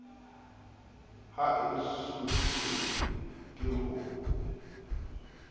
ha e sotlwe ke ho